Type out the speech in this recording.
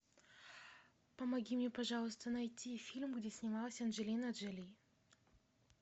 помоги мне пожалуйста найти фильм где снималась анджелина джоли